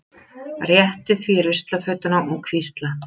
Rétti því ruslafötuna og hvísla